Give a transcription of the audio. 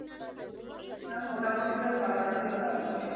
মোটামুটি তো সাত আট দিন লাগবেই